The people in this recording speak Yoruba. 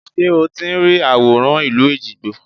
Ṣé o ti ń rí àwòrán ìlú Èjìgbò?